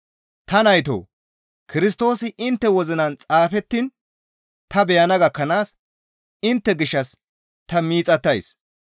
Ta naytoo! Kirstoosi intte wozinan xaafettiin ta beyana gakkanaas intte gishshas ta miixattays.